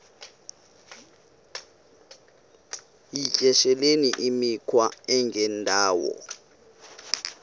yityesheleni imikhwa engendawo